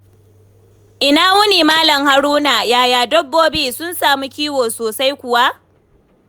Ina wuni Malam Haruna, yaya dabbobi? Sun samu kiwo sosai kuwa?